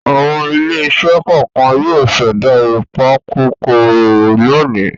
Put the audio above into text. Àwọn ilé-iṣẹ́ kọ̀ọ̀kan yóò ṣẹ̀dá ìpakòkòrò lónìí.